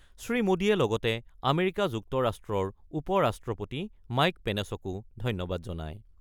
শ্ৰীমোদীয়ে লগতে আমেৰিকা যুক্তৰাষ্ট্ৰৰ উপ-ৰাষ্ট্ৰপতি মাইক পেনেচকো ধন্যবাদ জনায়।